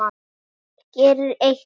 Margt smátt gerir eitt stórt.